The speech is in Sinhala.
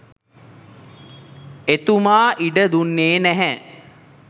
එතුමා ඉඩ දුන්නේ නැහැ.